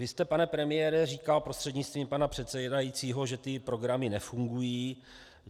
Vy jste, pane premiére, říkal, prostřednictvím paní předsedající, že ty programy nefungují.